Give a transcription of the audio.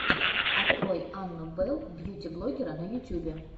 открой анну белл бьюти блоггера на ютюбе